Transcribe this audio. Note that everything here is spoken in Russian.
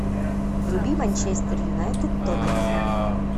вруби манчестер юнайтед тоттенхэм